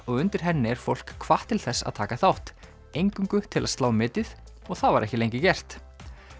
og undir henni er fólk hvatt til þess að taka þátt eingöngu til að slá metið og það var ekki lengi gert